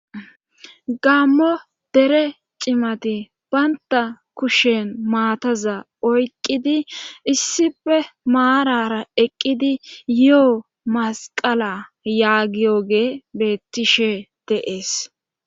gammo dere cimati baynta kushen maataza oyqqidi issife maarara eqqidi yo7o masqala yaagiyoge beettishe deees